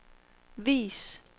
vis